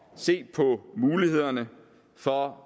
se på mulighederne for